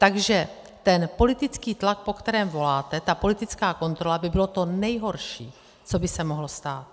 Takže ten politický tlak, po kterém voláte, ta politická kontrola, by bylo to nejhorší, co by se mohlo stát.